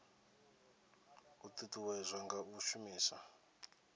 a ṱuṱuwedzwa nga u shumisa